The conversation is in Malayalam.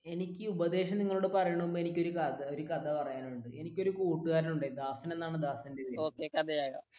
എനിക്ക് ഉപദേശം നിങ്ങളോട് പറയുന്നതിന് മുൻപ് എനിക്ക് നിങ്ങളോട് ഒരു കഥ പറയാനുണ്ട് എനിക്ക് ഒരു എന്താ ദാസൻ എന്നാണ് ദാസന്റെ പേര്